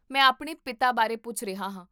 ਮੈਂ ਆਪਣੇ ਪਿਤਾ ਬਾਰੇ ਪੁੱਛ ਰਿਹਾ ਹਾਂ